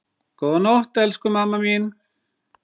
Góða nótt, elsku mamma mín.